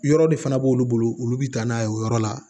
Yɔrɔ de fana b'olu bolo olu bɛ taa n'a ye o yɔrɔ la